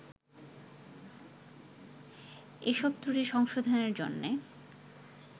এসব ত্রুটি সংশোধনের জন্যে